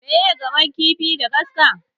Miye gamon kifi da kaska?